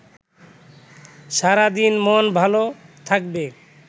সারাদিন মন ভালো থাকবে